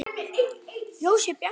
Ljósið bjarta!